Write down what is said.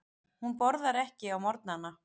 Hún borðar ekki á morgnana.